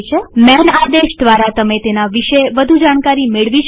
માન આદેશ દ્વારા તમે તેના વિશે વધુ જાણકારી મેળવી શકશો